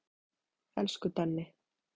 Elsku Denni.